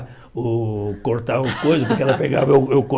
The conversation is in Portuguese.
O cortar o coisa porque ela pegava eu eu